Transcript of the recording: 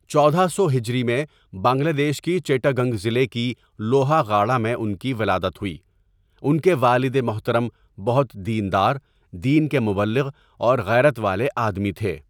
ـچودہ سو ہجری میں بنگلہ دیش کی چیٹاگنگ ضلع کی لوهاغاڑا میں انکی ولادت هوئی، انکے والد محترم بہت دیندار، دین کے مبلغ اور غیرت والے آدمی تهے.